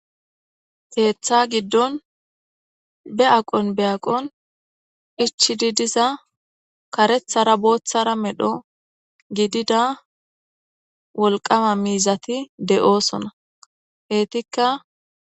Keththa giidon be aqqon be aqqon ichcidi diiza kareththara booththara medho giidida wolqqama miizati de'ossona eetika...